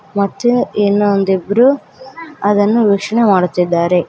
ಮತ್ತೆ ಇಲ್ಲೊಂದಿಬ್ರು ಅದನ್ನು ವೀಕ್ಷಣೆ ಮಾಡುತ್ತಿದ್ದಾರೆ.